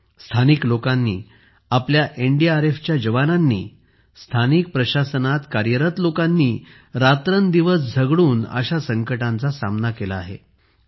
स्थानिक लोकांनी आपल्या एनडीआरएफच्या जवानांनी स्थानिक प्रशासनात कार्यरत लोकांनी रात्रंदिवस झगडून अशा संकटांचा सामना केला आहे